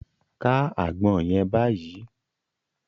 Ká àgbọn yẹn báyìí!